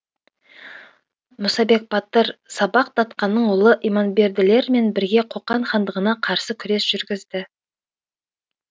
мұсабек батыр сапақ датқаның ұлы иманберділер мен бірге қоқан хандығына қарсы күрес жүргізді